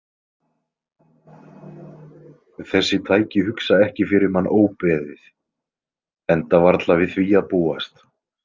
Þessi tæki hugsa ekki fyrir mann óbeðið, enda varla við því að búast.